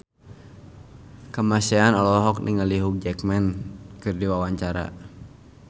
Kamasean olohok ningali Hugh Jackman keur diwawancara